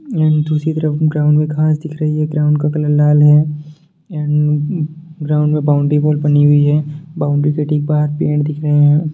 दूसरी तरफ ग्राउंड मे घांस दिख रही है ग्राउंड का कलर लाल है ग्राउंड में बाउंड्री वाल बनी हुई है बाउंड्री के ठीक बाहर पेड़ दिख रहे हैं।